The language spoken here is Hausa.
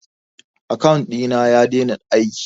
akawun ɗina ya dena aiki